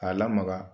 K'a lamaga